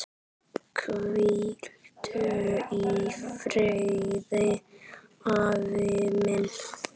Hvíldu í friði, afi minn.